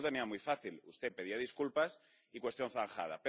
Pero usted lo tenía muy fácil. Usted pedía disculpas y cuestión zanjada.